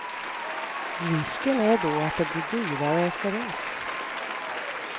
Risken är då att det blir dyrare för oss.